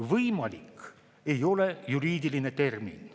"Võimalik" ei ole juriidiline termin.